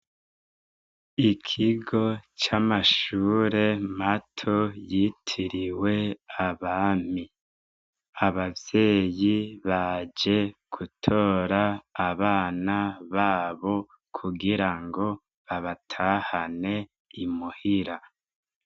Ikigo c'amashure mato yitiriwe abami abavyeyi baje gutora abana babo kugira ngo babatahane imuhira.